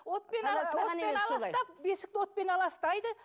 отпен отпен аластап бесікті отпен аластайды